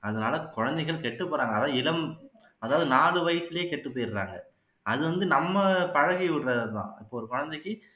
அதனால குழந்தைகள் கெட்டுப்பபோறாங்க அதான் இளம் அதாவது நாலு வயசுலயே கெட்டுப்போயிடுறாங்க அது வந்து நம்ம பழகி விடுறது தான் இப்போ ஒரு குழந்தைக்கு